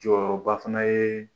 Jɔyɔrɔ ba fana ye